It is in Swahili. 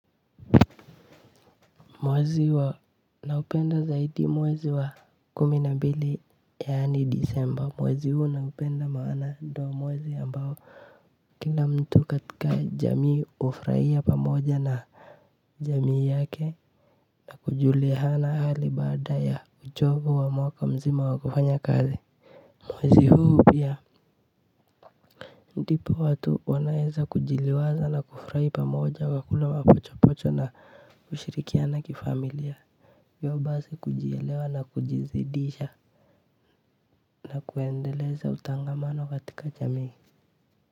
Mwezi wa naupenda zaidi mwezi wa kumi na mbili yaani disemba mwezi huu naupenda maana ndo mwezi ambao kila mtu katika jamii hufurahia pamoja na jamii yake na kujuliana hali baada ya uchovu wa mwaka mzima wa kufanya kazi mwezi huu pia ndipo watu wanaeza kujiliwaza na kufurahi pamoja na kula mapochopocho na kushirikiana kifamilia hivyo basi kujielewa na kujizidisha na kuendeleza utangamano katika jamii.